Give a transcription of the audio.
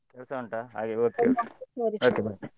ಕೆಲ್ಸ ಉಂಟಾ ಹಾಗೆ .